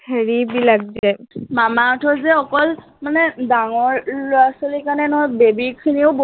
হেৰি বিলাক যে মামা আৰ্থৰ যে অকল মানে ডাঙৰ লৰা ছোৱালীৰ কাৰনে নহয়, baby খিনিও বহুত